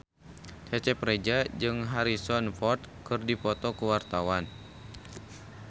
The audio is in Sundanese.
Cecep Reza jeung Harrison Ford keur dipoto ku wartawan